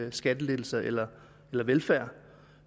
af skattelettelser eller velfærd